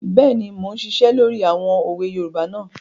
Bẹ́ẹ̀ni, mo n ṣiṣẹ́ lórí àwọn òwe yoòbá náà